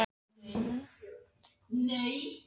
Hvernig skyldi henni hafa líkað Bréfið?